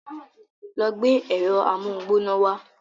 Lọ gbé ẹ̀rọ amóhungbóná wa.